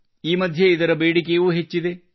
ಈ ಮಧ್ಯೆ ಇದರ ಬೇಡಿಕೆಯೂ ಹೆಚ್ಚಿದೆ